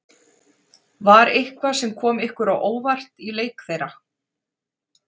Var eitthvað sem kom ykkur á óvart í leik þeirra?